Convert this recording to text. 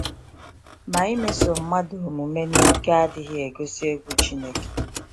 Ma imeso mmadụ omume n’ike adịghị egosi egwu Chineke.